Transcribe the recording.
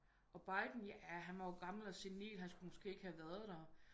Og Biden ja han var jo gammel og sernil han skulle måske ikke have været der